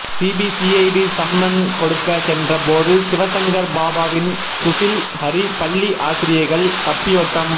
CBCID summon கொடுக்க சென்ற போது சிவசங்கர் பாபாவின் சுஷில் ஹரி பள்ளி ஆசிரியைகள் தப்பியோட்டம்